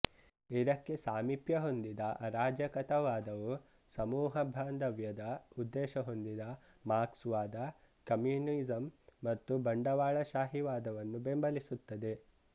ಇದಕ್ಕೆ ಸಾಮೀಪ್ಯ ಹೊಂದಿದ ಅರಾಜಕತಾವಾದವು ಸಮೂಹ ಬಾಂಧವ್ಯದ ಉದ್ದೇಶ ಹೊಂದಿದ ಮಾರ್ಕ್ಸ್ ವಾದ ಕಮ್ಯುನಿಸಂ ಮತ್ತು ಬಂಡವಾಳಶಾಹಿವಾದವನ್ನು ಬೆಂಬಲಿಸುತ್ತದೆ